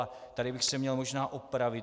A tady bych se měl možná opravit.